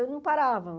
Eu não parava.